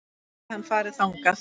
En gæti hann farið þangað?